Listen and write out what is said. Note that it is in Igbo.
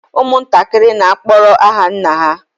Ụmụntakịrị n'akpọrọ aha nna ha